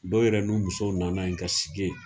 Dɔw yɛrɛ ni musow nana yen ka sigi yen.